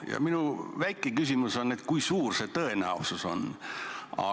Ja minu väike küsimus on: kui suur see tõenäosus on?